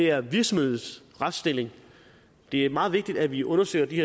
er virksomhedernes retsstilling det er meget vigtigt at vi undersøger de